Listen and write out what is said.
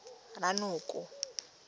ranoko